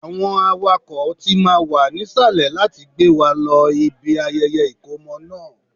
Àwọn awakọ̀ tí máa wà nísàlẹ̀ láti gbé wa lọ ibi ayẹyẹ ìkómọ náà